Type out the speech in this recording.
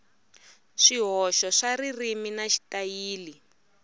swihoxo swa ririmi na xitayili